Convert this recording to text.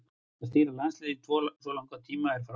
Að stýra landsliðinu í svo langan tíma er frábært afrek.